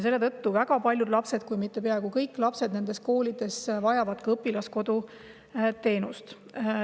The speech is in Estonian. Seetõttu vajavad väga paljud lapsed, kui mitte kõik lapsed nendes koolides ka õpilaskodu teenust.